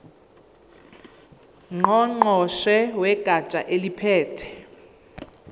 ngqongqoshe wegatsha eliphethe